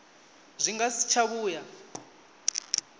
zwi nga si tsha vhuya